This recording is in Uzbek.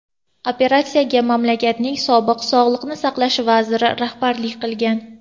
Operatsiyaga mamlakatning sobiq sog‘liqni saqlash vaziri rahbarlik qilgan.